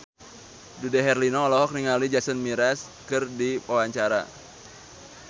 Dude Herlino olohok ningali Jason Mraz keur diwawancara